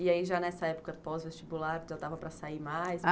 E aí já nessa época pós-vestibular já dava para sair mais?